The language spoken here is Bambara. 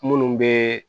Munnu be